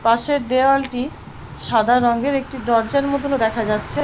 পাশে দেয়ালটি সাদা রঙের। একটি দরজার মতন ও দেখা যাচ্ছে ।